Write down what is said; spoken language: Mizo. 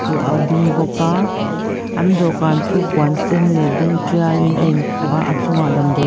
ding bawk a an dawhkan chu puan sen leh a dum tialin a inkhuh a a chungah damdawi--